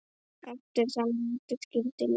Eftir þann vetur skildi leiðir.